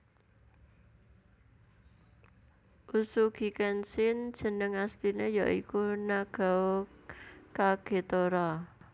Uesugi Kenshin jeneng asliné ya iku Nagao Kagetora